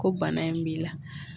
Ko bana in b'i la